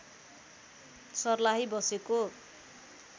सर्लाही बसेको